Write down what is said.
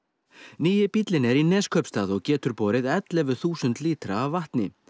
nýi bíllinn er í Neskaupstað og getur borði ellefu þúsund lítra af vatni